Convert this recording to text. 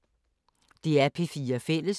DR P4 Fælles